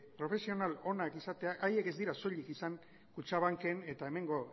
profesional onak izatea haiek ez dira soilik izan kutxabanken eta hemengo